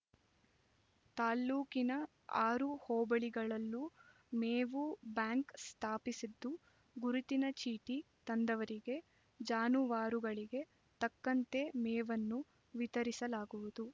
ತಾಲ್ಲೂಕಿನ ಆರು ಹೋಬಳಿಗಳಲ್ಲೂ ಮೇವು ಬ್ಯಾಂಕ್ ಸ್ಥಾಪಿಸಿದ್ದು ಗುರುತಿನ ಚೀಟಿ ತಂದವರಿಗೆ ಜಾನುವಾರುಗಳಿಗೆ ತಕ್ಕಂತೆ ಮೇವನ್ನು ವಿತರಿಸಲಾಗುವುದು